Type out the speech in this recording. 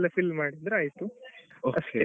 fill ಮಾಡಿದ್ರೆ ಆಯ್ತುಅಷ್ಟೇ.